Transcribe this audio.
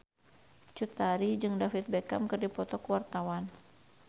Cut Tari jeung David Beckham keur dipoto ku wartawan